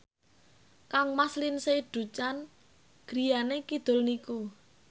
kangmas Lindsay Ducan griyane kidul niku